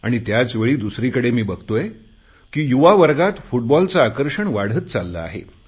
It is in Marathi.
आणि त्याचवेळी दुसरीकडे मी बघतोय की युवा वर्गात फुटबॉलचे आकर्षण वाढत चालले आहे